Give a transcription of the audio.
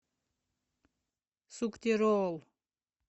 суктероол